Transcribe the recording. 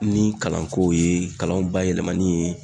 Ni kalankow ye kalanw bayɛlɛmali ye